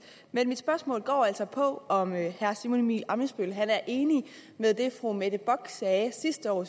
men mit spørgsmål går altså på om herre simon emil ammitzbøll er enig i det fru mette bock sagde sidste år